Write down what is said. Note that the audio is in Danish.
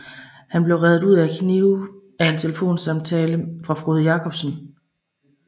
Han blev reddet ud af kniben af en telefonsamtale fra Frode Jakobsen